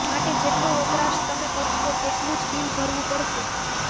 માટે જેટલો વપરાશ તમે કરશો તેટલું જ બિલ ભરવું પડશે